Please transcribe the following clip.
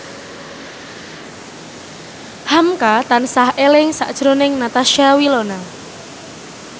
hamka tansah eling sakjroning Natasha Wilona